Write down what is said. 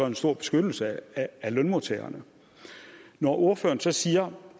en stor beskyttelse af lønmodtagerne når ordføreren så siger